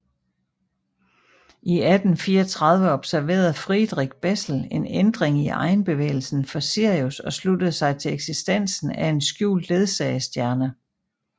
I 1834 observerede Friedrich Bessel en ændring i egenbevægelsen for Sirius og sluttede sig til eksistensen af en skjult ledsagestjerne